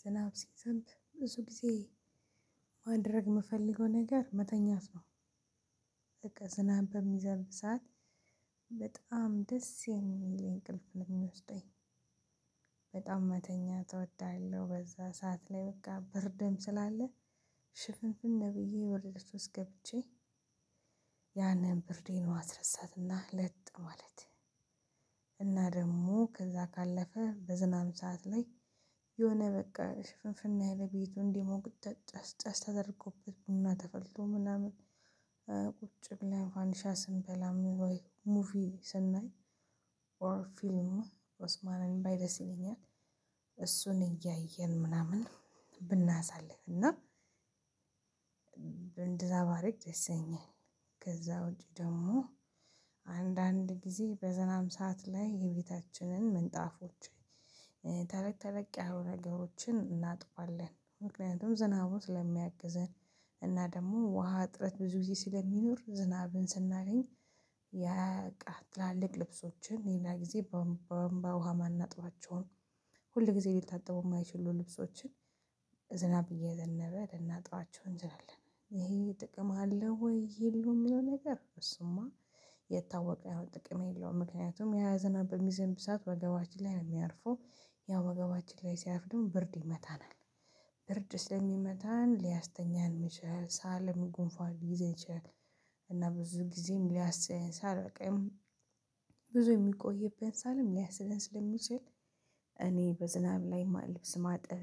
ዝናብ ሲዘንብ ብዙ ጊዜ ማድረግ የምፈልገው ነገር መተኛት ነው። በቃ ስናብ በሚዘልብ ሰዓት በጣም ደስ የሚል እንቅልፍ ነው የሚወስደኝ። በጣም መተኛት እወዳለሁ በዛ ሰዓት ላይ በቃ ብርደም ስላለ ሽፍንፍን ብዬ ወረደች ውስጥ ገብቼ ያንን ብርዴን ማስረሳትና ለጥ ማለት። እና ደግሞ ከዛ ካለፈ በዝናብ ሰዓት ላይ የሆነ በቃ ሽፍንፍን ያለ ቤቱን ደግሞ ጥጫጭ ጫሽ ተደርጎበት ነው እና ተፈልቶ ምናምን። ብለን ፈንዲሻ ስንበላ ወይ ሙቪ ስናይ ኦር ፊልም ኦስማንን ባይ ደስ ይለኛል። እሱን እያየን ምናምን ብናሳልፍ እና እንደዛ ባደርግ ደስ ይለኛል። ከዛ ውጪ ደግሞ አንዳንድ ጊዜ በዝናብ ሰዓት ላይ የቤታችንን ምንጣፎች ተለቅ ተለቅ ያሉ ነገሮችን እናጥባለን። ምክንያቱም ዝናቡን ስለሚያግዘን እና ደግሞ ውሃ እጥረት ብዙ ጊዜ ስለሚኖር ዝናብን ስናገኝ። ያ ትላልቅ ልብሶችን ሌላ ጊዜ በወንባ ውሃ ማናጥባቸውን ሁል ጊዜ ሊታጥቡ የማይችሉ ልብሶችን ዝናብ እየዘነብ ልናጥባቸው እንችላለን ይሄ ጥቅም አለው። ወይ የሚለው ነገር እሱማ የታወቀ ያው ጥቅም የለውም። ምክንያቱም ያዝናበት በሚዘንብ ስዓት ወገባችን ላይ የሚያርፈው ያው ወገባችን ላይ ሲያፍድም ብርድ ይመታናል። ብርድ ስለሚመታን ሊያስተኛን ይችላል። ሳለም ጉንፏን ሊይዘኝ ይችላል። እና ብዙ ጊዜም ሊያስለን ሳል በቃ ብዙ የሚቆይብን ሳልም ሊያስለን ስለሚችል። እኔ በዝናብ ላይ ልብስ ማጥበ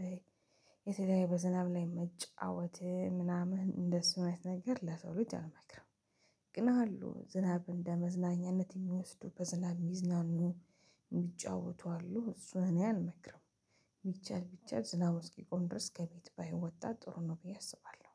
የተለያየ በዝናብ ላይ መጫወት ምናምን እንደሱ ነው የሚነገር ለሰው ልጅ አልመክርም። ግን አሉ ዝናብ እንደመዝናኛነት የሚወስደው በዝናብ የሚዝናኑ የሚጫወቱ አሉ እሱን እኔ አልመክርም። ቢቻል ቢቻል ዝናብ እስኪቆን ድረስ ከቤት ባይወጣ ጥሩ ነው ብዬ አስባለሁ።